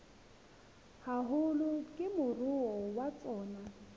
haholo ke moruo wa tsona